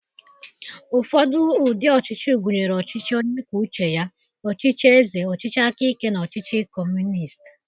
Ụfọdụ ụdị ọchịchị gụnyere ọchịchị onye kwuo uche ya, ọchịchị eze, ọchịchị aka ike, na ọchịchị Kọmunist.